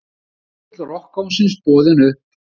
Flygill rokkkóngsins boðinn upp